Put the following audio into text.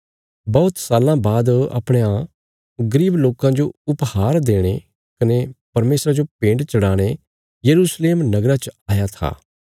बौहत साल्लां बाद अपणयां गरीब लोकां जो उपहार देणे कने परमेशरा जो भेंट चढ़ाणे यरूशलेम नगरा च आया था